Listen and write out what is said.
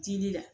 Dili la